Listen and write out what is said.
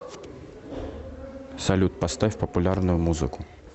салют поставь популярную музыку